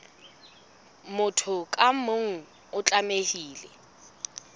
motho ka mong o tlamehile